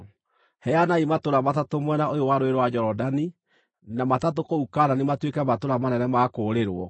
Heanai matũũra matatũ mwena ũyũ wa Rũũĩ rwa Jorodani na matatũ kũu Kaanani matuĩke matũũra manene ma kũũrĩrwo.